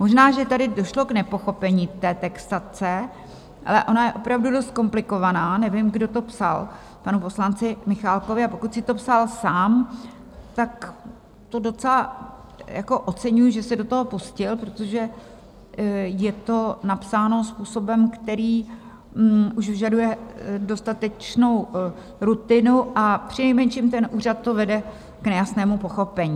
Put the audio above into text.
Možná že tady došlo k nepochopení té textace, ale ona je opravdu dost komplikovaná - nevím, kdo to psal panu poslanci Michálkovi, a pokud si to psal sám, tak to docela oceňuji, že se do toho pustil, protože je to napsáno způsobem, který už vyžaduje dostatečnou rutinu, a přinejmenším ten úřad to vede k nejasnému pochopení.